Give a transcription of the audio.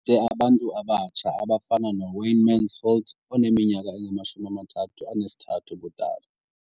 de abantu abatsha abafana noWayne Mansfield oneminyaka engama-33 ubudala.